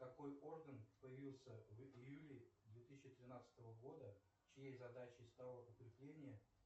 какой орган появился в июле две тысячи тринадцатого года чьей задачей стало укрепление